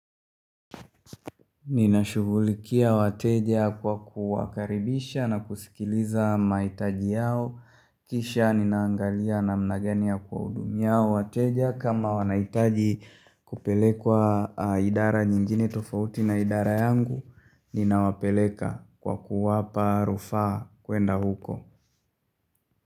Ninashugulikia wateja kwa kuwakaribisha na kusikiliza mahitaji yao. Kisha ninaangalia namna gani ya kuwahudumia hawa wateja kama wanahitaji kupelekwa idara nyingine tofauti na idara yangu, ninawapeleka kwa kuwapa rufaa kuenda huko.